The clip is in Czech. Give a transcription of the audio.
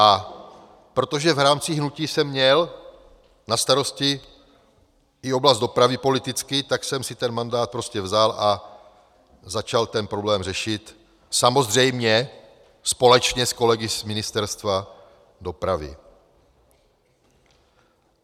A protože v rámci hnutí jsem měl na starosti i oblast dopravy politicky, tak jsem si ten mandát prostě vzal a začal ten problém řešit, samozřejmě společně s kolegy z Ministerstva dopravy.